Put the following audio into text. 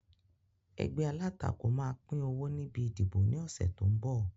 Ẹgbẹ́ alátakò máa pín owó níbi ìdìbò ni ọ̀sẹ̀ tó ń bọ̀